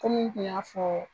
Komi n tun y'a fɔ.